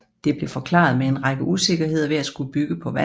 Det blev forklaret med en række usikkerheder ved at skulle bygge på vand